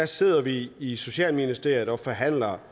sidder vi i socialministeriet og forhandler